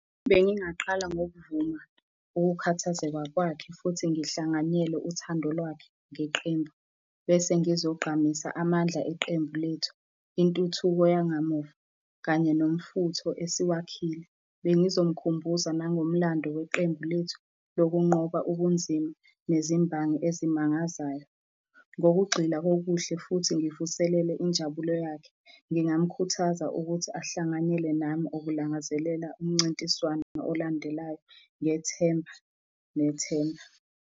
Bengingaqala ngokuvuma ukukhathazeka kwakhe futhi ngihlanganyele uthando lwakhe ngeqembu. Bese ngizogqamisa amandla eqembu lethu, intuthuko yangamuva kanye nomfutho esiwakhile. Bengizomukhumbuza nangomlando weqembu lethu lokunqoba okunzima nezimbangi ezimangazayo. Ngokugxila kokuhle futhi ngivuselele injabulo yakhe, ngingamukhuthaza ukuthi ahlanganyele nami ukulangazelela umncintiswano olandelayo, ngethemba nethemba.